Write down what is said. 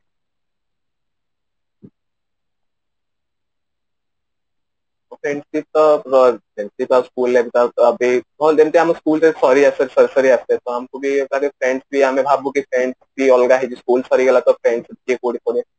okey ଏମିତି ତ ଯେମିତି କା school life ଯେମିତି ଆମ school life ସରି ସରି ଆସେ ସରି ସରି ଆସେ ତ ହମ ତାପରେ tenth ପରେ ଆମେ ଭାବୁ କି tenth school ସରିଗଲା ତ tenth ପରେ କିଏ କୋଉଠି କରିବ